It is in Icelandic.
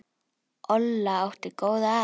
Olla átti góða að.